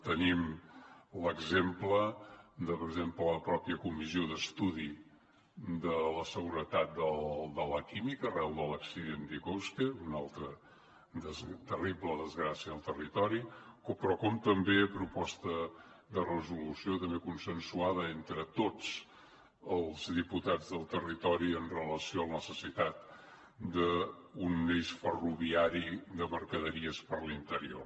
tenim l’exemple de la mateixa comissió d’estudi de la seguretat del sector de la petroquímica arran de l’accident d’iqoxe una altra terrible desgràcia al territori però també la proposta de resolució consensuada entre tots els diputats del territori en relació amb la necessitat d’un eix ferroviari de mercaderies per l’interior